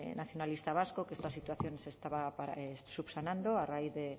nacionalista vasco que esta situación se estaba subsanando a raíz de